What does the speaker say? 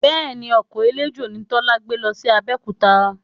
Bẹ́ẹ̀ni, ọkọ̀ eléjò ni Tọ́lá gbé lọ sí Abẹ́òkúta